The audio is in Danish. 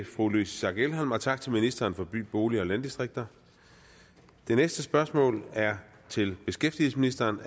fru louise schack elholm og tak til ministeren for by bolig og landdistrikter det næste spørgsmål er til beskæftigelsesministeren